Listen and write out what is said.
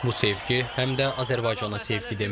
Bu sevgi həm də Azərbaycana sevgi deməkdir.